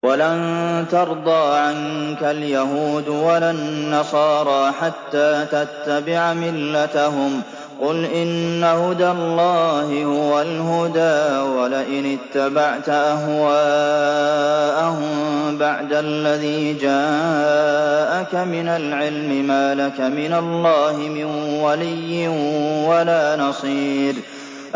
وَلَن تَرْضَىٰ عَنكَ الْيَهُودُ وَلَا النَّصَارَىٰ حَتَّىٰ تَتَّبِعَ مِلَّتَهُمْ ۗ قُلْ إِنَّ هُدَى اللَّهِ هُوَ الْهُدَىٰ ۗ وَلَئِنِ اتَّبَعْتَ أَهْوَاءَهُم بَعْدَ الَّذِي جَاءَكَ مِنَ الْعِلْمِ ۙ مَا لَكَ مِنَ اللَّهِ مِن وَلِيٍّ وَلَا نَصِيرٍ